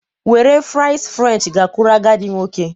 Were fries french gakwuru agadi nwoke